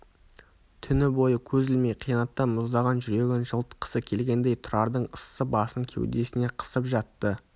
түні бойы көз ілмей қиянаттан мұздаған жүрегін жылытқысы келгендей тұрардың ыссы басын кеудесіне қысып жатты